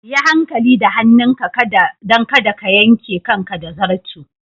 Yi hankali da hannunka don kada ka yanke kanka da zarto.